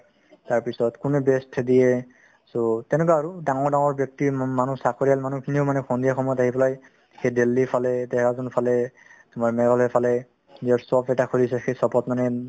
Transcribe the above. তাৰপিছত কোনে best so তেনেকুৱা আৰু ডাঙৰ ডাঙৰ ব্যক্তি মা~ মানুহ চাকৰিয়াল মানুহখিনিও মানে সন্ধিয়া সময়ত আহি পেলাই সেই দেলহীৰফালে, দেহৰাদুনৰফালে তোমাৰ মেঘালয়ৰফালে নিজৰ shop এটা খুলিছে সেই shop ত মানে